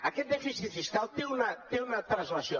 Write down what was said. aquest dèficit fiscal té una translació